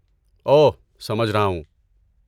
اوہ، سمجھ رہا ہوں۔